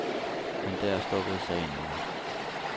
Men der stoppede sagen ikke.